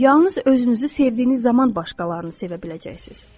Yalnız özünüzü sevdiyiniz zaman başqalarını sevə biləcəksiniz.